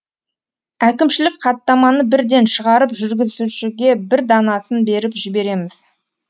әкімшілік хаттаманы бірден шығарып жүргізушіге бір данасын беріп жібереміз